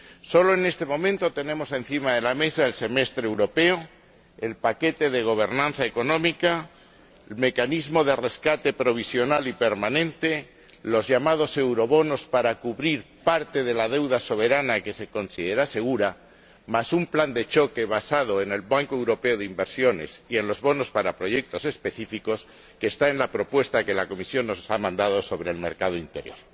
Solo en este momento tenemos encima de la mesa el semestre europeo, el paquete de gobernanza económica, el mecanismo de rescate provisional y permanente, los llamados eurobonos para cubrir parte de la deuda soberana que se considera segura, más un plan de choque basado en el Banco Europeo de Inversiones y en los bonos para proyectos específicos que está en la propuesta que la Comisión nos ha mandado sobre el mercado interior.